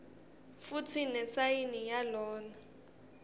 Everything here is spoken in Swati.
futsi nesayini yalona